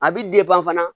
A bi fana